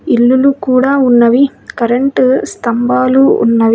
ఇల్లులు కూడా ఉన్నవి. కరెంటు స్థంభాలు ఉన్నవి.